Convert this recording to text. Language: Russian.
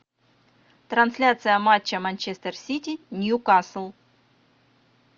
трансляция матча манчестер сити ньюкасл